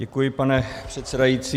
Děkuji, pane předsedající.